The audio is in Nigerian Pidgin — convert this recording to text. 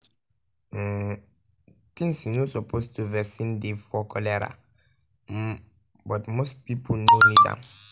um tins you no suppose do vaccine dey for cholera um but most pipo no need am.